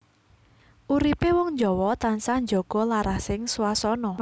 Uripé wong Jawa tansah njaga larasing swasana